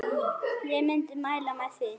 Ég myndi mæla með því.